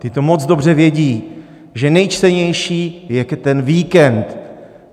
Ty to moc dobře vědí, že nejčtenější je ten víkend.